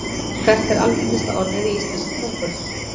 Hvert er algengasta orðið í íslenskri tungu?